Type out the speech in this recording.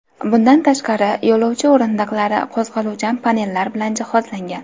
Bundan tashqari, yo‘lovchi o‘rindiqlari qo‘zg‘aluvchan panellar bilan jihozlangan.